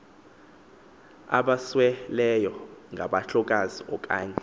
abasweleyo ngabahlolokazi okanye